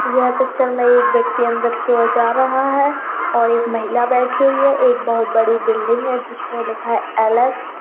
यह पिक्चर में एक व्यक्ति अंदर की और जा रहा है और एक महिला बैठी हुई है एक बहुत बड़ी बिल्डिंग है जिस में लिखा हुआ है एल एस --